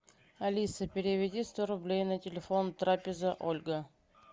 алиса переведи сто рублей на телефон трапеза ольга